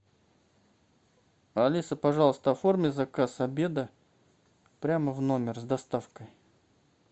алиса пожалуйста оформи заказ обеда прямо в номер с доставкой